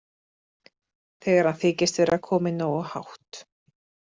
Þegar hann þykist vera kominn nógu hátt.